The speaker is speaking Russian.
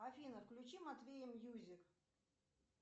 афина включи матвея мьюзик